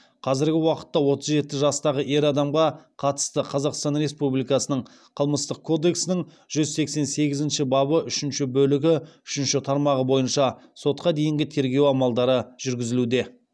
қазіргі уақытта отыз жеті жастағы ер адамға қатысты қазақстан республикасының қылмыстық кодексінің жүз сексен сегізінші бабы үшінші бөлігі үшінші тармағы бойынша сотқа дейінгі тергеу амалдары жүргізілуде